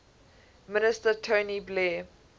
minister tony blair